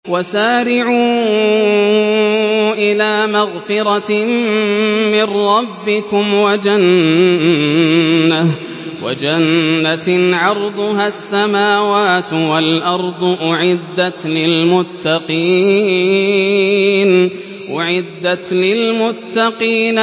۞ وَسَارِعُوا إِلَىٰ مَغْفِرَةٍ مِّن رَّبِّكُمْ وَجَنَّةٍ عَرْضُهَا السَّمَاوَاتُ وَالْأَرْضُ أُعِدَّتْ لِلْمُتَّقِينَ